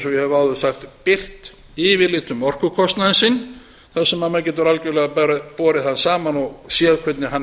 hef áður sagt birt yfirlit um orkukostnaðinn sinn þar sem maður getur algjörlega borið hann saman og séð hvernig hann